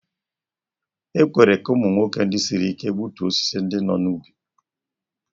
E kwere ka ụmụ nwoke ndị siri ike gbutuo osisi ndị nọ n'ubi.